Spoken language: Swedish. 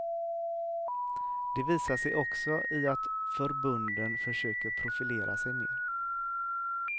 Det visar sig också i att förbunden försöker profilera sig mer.